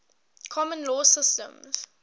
common law systems